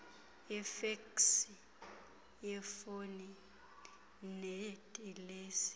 yefeksi yefoni nedilesi